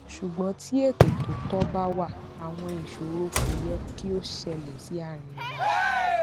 ṣùgbọn tí ètò tó tọ bá wà àwọn ìṣòro kò yẹ kí ó ṣẹlẹ sí arìnrìnàjò